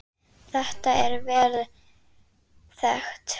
Þetta er vel þekkt.